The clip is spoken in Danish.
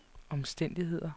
omstændigheder